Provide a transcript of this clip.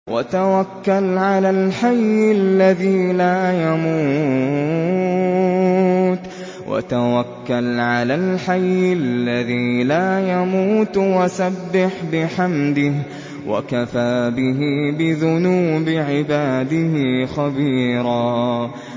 وَتَوَكَّلْ عَلَى الْحَيِّ الَّذِي لَا يَمُوتُ وَسَبِّحْ بِحَمْدِهِ ۚ وَكَفَىٰ بِهِ بِذُنُوبِ عِبَادِهِ خَبِيرًا